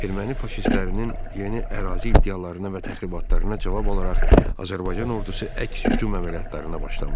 Erməni faşistlərinin yeni ərazi iddialarına və təxribatlarına cavab olaraq Azərbaycan ordusu əks hücum əməliyyatlarına başlamışdı.